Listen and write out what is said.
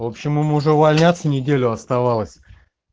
в общем ему уже увольняться неделю оставалось